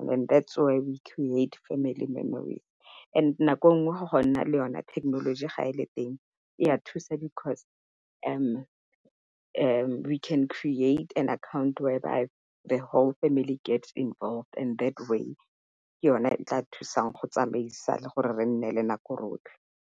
And that's when they create family memories and nako nngwe go go nna le yona thekenoloji ga e le teng ya thusa because we can create an account where by the whole family get involved and that way, ke yone e tla thusang go tsamaisa le gore re nne le nako rotlhe.